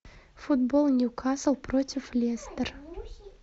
футбол ньюкасл против лестер